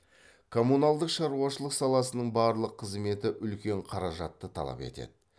коммуналдық шаруашылық саласының барлық қызметі үлкен қаражатты талап етеді